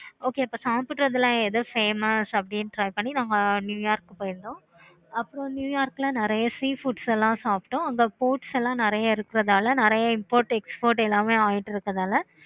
okay அப்போ சாப்பிடுறது எல்லாம் எது famous அப்படினு try கிறதுக்காக நாங்க new york போயிருந்தோம். அப்பறம் new york ல நெறைய sea foods எல்லாம் சாப்பிட்டோம். அங்க sports எல்லாம் நெறைய இருக்கிறதுனால நெறைய import export எல்லாமே ஆகிட்டு இருக்கதுனால